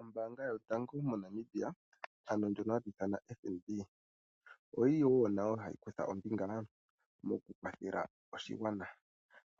Ombaanga yotango moNamibia ano ndjono hatu ithana FNB, oyi li woo nayo hayi kutha ombinga moku kwathela oshigwana.